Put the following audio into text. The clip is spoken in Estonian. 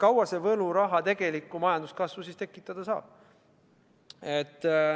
Ja kui kaua see võluraha tegelikku majanduskasvu tekitada saab?